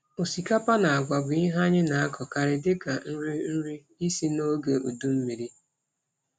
Osikapa na agwa bụ ihe anyị na-akọkarị dịka nri nri isi n’oge udu mmiri.